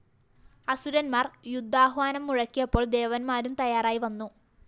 അസുരന്മാർ യുദ്ധാഹ്വാനം മുഴക്കിയപ്പോൾ ദേവന്മാരും തയ്യാറായി വന്നു